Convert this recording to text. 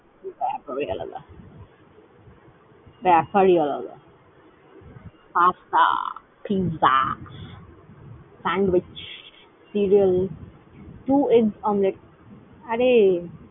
ব্যাপারই আলাদা। ব্যাপারই আলাদা। Pasta, Pizza, Sandwich, , two egg omlet । আরে